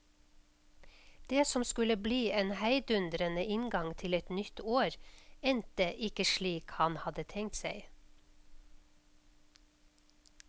Det som skulle bli en heidundrende inngang til et nytt år, endte ikke slik han hadde tenkt seg.